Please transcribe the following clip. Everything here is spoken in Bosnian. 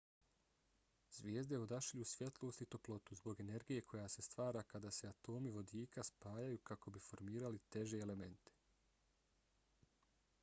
zvijezde odašilju svjetlost i toplotu zbog energije koja se stvara kada se atomi vodika spajaju kako bi formirali teže elemente